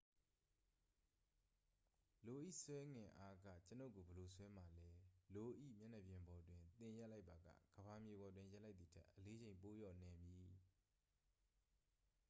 လို၏ ဆွဲငင်အားက ကျွန်ုပ်ကို ဘယ်လို ဆွဲမှာလဲ လို၏ မျက်နှာပြင်ပေါ်တွင် သင်ရပ်လိုက်ပါက ကမ္ဘာမြေပေါ်တွင် ရပ်လိုက်သည်ထက် အလေးချိန် ပိုလျော့နည်းမည်